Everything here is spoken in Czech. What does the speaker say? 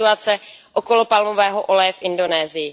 situace okolo palmového oleje v Indonésii.